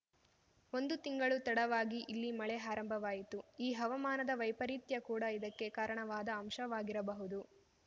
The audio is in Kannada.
ಒಂದು ತಿಂಗಳು ತಡವಾಗಿ ಇಲ್ಲಿ ಮಳೆ ಆರಂಭವಾಯಿತು ಈ ಹವಾಮಾನದ ವೈಪರೀತ್ಯ ಕೂಡ ಇದಕ್ಕೆ ಕಾರಣವಾದ ಅಂಶವಾಗಿರಬಹುದು